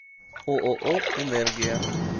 ооо энергия